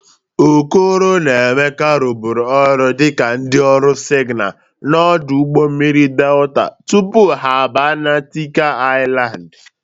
Okoro na Emeka rụbụrụ ọrụ dịka ndị ọrụ sịgnal n' ọdụ ụgbọ mmiri Delta tupu ha bịa na Tịnkan Ịlandị